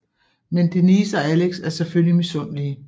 Men Denise og Alex er selvfølgelig misundelige